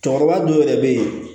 Cɛkɔrɔba dɔw yɛrɛ bɛ yen